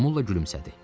Momulla gülümsədi.